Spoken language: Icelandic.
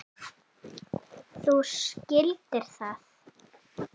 Þú skildir það.